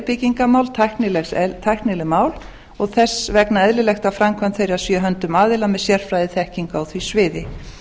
byggingarmál tæknileg mál og þess vegna er eðlilegt að framkvæmd þeirra sé í höndum aðila með sérfræðiþekkingu á því sviði